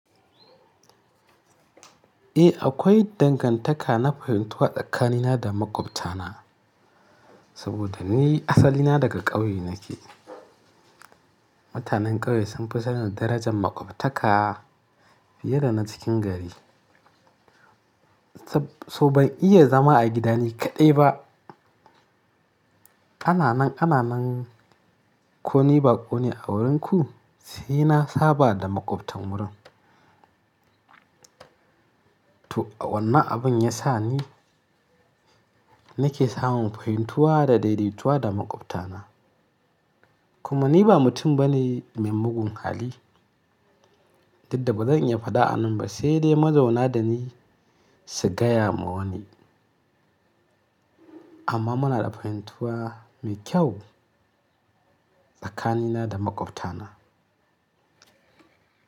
Eh, akwai dangantaka na fahimtuwa tsakanina da maƙwabtana saboda ni asali na daga ƙauye nake. Mutanen ƙauye sun fi sanin darajar maƙwabtaka fiye da na cikin gari. To ban iya zama a gida ni kaɗai ba. Ananan, ananan, koni bakone a wurinku sai na saba da maƙwabtan wurin. To wannan abin ya sa ni nake samun fahimtuwa da daidaituwa da maƙwabtana. Kuma ni ba mutum bane mai mugun hali, duk da ba zan iya faɗa a nan ba sai dai mazauna da ni su gaya ma wani. Amma muna da fahimtuwa mai kyau tsakanina da maƙwabtana.